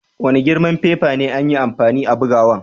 Wani girman fefa ne an yi amfani a'bugowan?